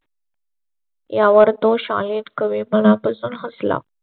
यावर तो शाळेत कवी मना पासून हसला.